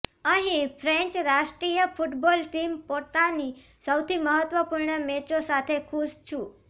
અહીં ફ્રેન્ચ રાષ્ટ્રીય football team પોતાની સૌથી મહત્ત્વપૂર્ણ મેચો સાથે ખુશ છું